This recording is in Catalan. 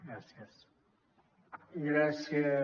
gràcies